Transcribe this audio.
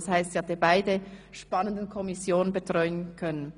Sie hat also beide spannenden Kommissionen betreuen können.